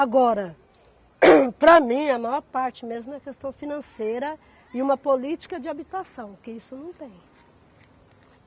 Agora, para mim, a maior parte mesmo é a questão financeira e uma política de habitação, que isso não tem.